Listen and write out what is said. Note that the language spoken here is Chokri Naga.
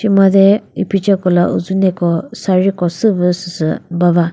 she made iphicheko la uzuneko sari ko süvü süsü ba va.